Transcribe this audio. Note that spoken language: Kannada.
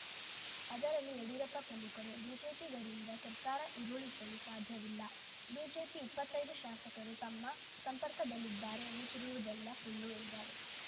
ಅದರಲ್ಲಿ ಯಡಿಯೂರಪ್ಪ ಪ್ರಮುಖರು ಬಿಜೆಪಿಗರಿಂದ ಸರ್ಕಾರ ಉರುಳಿಸಲು ಸಾಧ್ಯವಿಲ್ಲ ಬಿಜೆಪಿ ಇಪ್ಪತ್ತೈದು ಶಾಸಕರು ತಮ್ಮ ಸಂಪರ್ಕದಲ್ಲಿದ್ದಾರೆ ಎನ್ನುತ್ತಿರುವುದೆಲ್ಲ ಸುಳ್ಳು ಎಂದರು